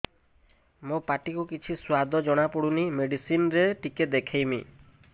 ମୋ ପାଟି କୁ କିଛି ସୁଆଦ ଜଣାପଡ଼ୁନି ମେଡିସିନ ରେ ଟିକେ ଦେଖେଇମି